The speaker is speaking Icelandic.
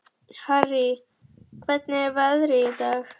Harrý, hvernig er veðrið í dag?